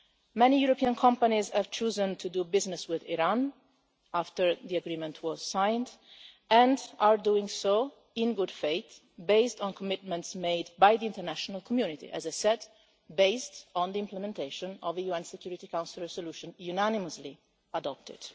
Many European companies have chosen to do business with Iran after the agreement was signed and are doing so in good faith, based on commitments made by the international community, as I said, based on the implementation of the UN Security Council resolution unanimously adopted.